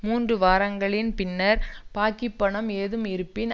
மூன்று வாரங்களின் பின்னர் பாக்கிப் பணம் ஏதும் இருப்பின்